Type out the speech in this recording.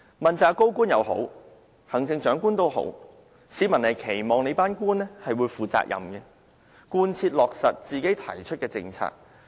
問責高官也好，行政長官也好，市民都期望官員負責任，貫徹落實他們所提出的政策。